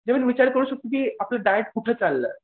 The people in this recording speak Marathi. विचार करू शाळतो की आपलं डाएट कुठं चाललंय